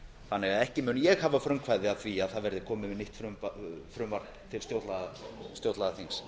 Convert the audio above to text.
þannig að ekki mun ég hafa frumkvæði að því að það verði komið með nýtt frumvarp til stjórnlagaþings